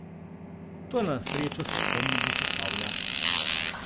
Toda na srečo se omnibus ustavlja.